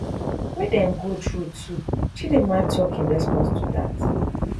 wey dem go through too chidimma tok in response to dat